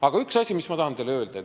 Aga on üks asi, mis ma tahan teile öelda.